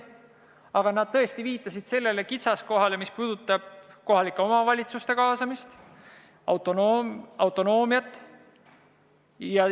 Aga nad tõesti viitasid sellele kitsaskohale, mis puudutab kohalike omavalitsuste kaasamist, autonoomiat.